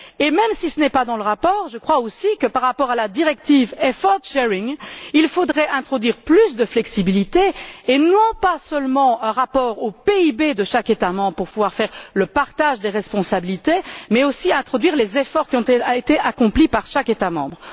Et même si ce n'est pas dans le rapport, je crois aussi que par rapport à la directive sur la répartition des efforts, il faudrait introduire plus de flexibilité et non pas seulement un rapport au PIB de chaque État membre pour pouvoir faire le partage des responsabilités, mais aussi introduire les efforts qui ont été accomplis par chaque État membre.